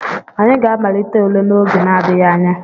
Anyị ga-amalite ule n'oge n'adịghị anya.